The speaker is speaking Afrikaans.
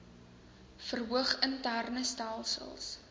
verhoog interne stelsels